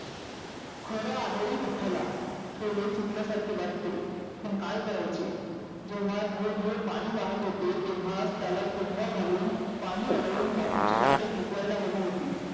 खरं आहे रे विठ्ठला थोडे चुकल्या सारखे वाटते. पण काय करायचे जेव्हा धोधो पाणि वाहत होते तेव्हा त्याला तुंम्बा घालून पाणि आडवून बाजूची राने पिकवायला हवी होती.